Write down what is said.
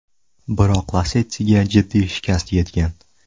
Biroq Lacetti’ga jiddiy shikast yetgan.